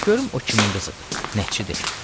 Görüm o kimin qızıdır, nəçidir.